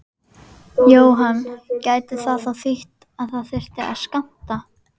Jóhann: Gæti það þá þýtt að það þyrfti að skammta?